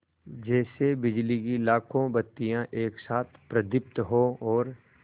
जैसे बिजली की लाखों बत्तियाँ एक साथ प्रदीप्त हों और